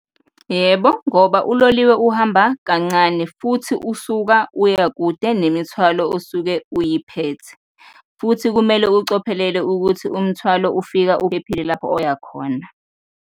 Yebo, ngoba uloliwe uhamba kancane futhi usuka uya kude nemithwalo osuke uyiphethe futhi kumele ucophelele ukuthi umthwalo ufika uphephile lapho oya khona.